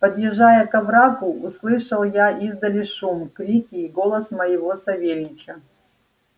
подъезжая к оврагу услышал я издали шум крики и голос моего савельича